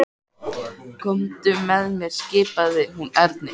Komdu með mér skipaði hún Erni.